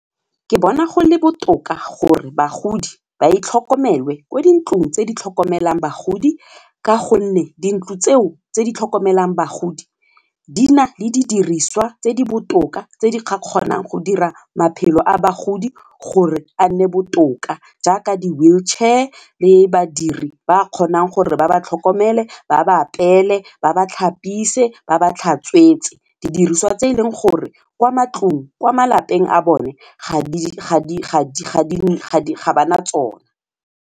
Ke bona go le botoka gore bagodi ba tlhokomelwe ko dintlong tse di tlhokomelang bagodi ka gonne dintlo tseo tse di tlhokomelang bagodi di na le didiriswa tse di botoka tse di kgonang go dira maphelo a bagodi gore a nne botoka jaaka di-wheelchair le badiri ba kgonang gore ba ba tlhokomele ba ba apeele ba ba tlhapise, ba ba tlhatswetswe, didiriswa tse eleng gore kwa malapeng a bone ga ba na tsona.